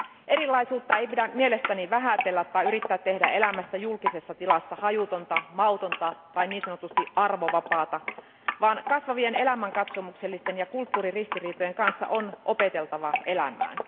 Erilaisuutta ei pidä mielestäni vähätellä tai yrittää tehdä elämästä julkisessa tilassa hajutonta, mautonta tai niin sanotusti arvovapaata, vaan kasvavien elämänkatsomuksellisten ja kulttuuriristiriitojen kanssa on opeteltava elämään.